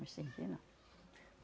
Mas sem que, não.